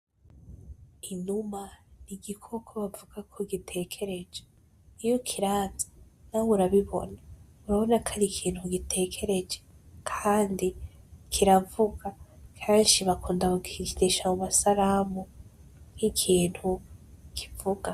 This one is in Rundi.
Inuma n'igikoko bavuga ko gitekereje, iyo ukiravye nawe urabibona, urabona ko ari ikintu gitekereye kandi kiravuga, kenshi bakunda kukigirisha mu masalamu, nk'ikintu kivuga.